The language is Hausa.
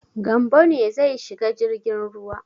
Gambo ne zai shiga jirgin ruwa.